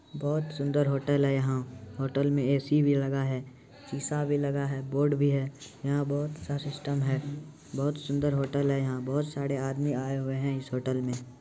बहुत सुंदर होटल हेैं यहां होटल मे ए-सी भी लगा है सीसा भी लगा है बोर्ड भी है यहां बहुत-सा सिस्टम है बोहत सुंदर होटल है यहां बहुत सारे आदमी आए हुए इस होटल मे ।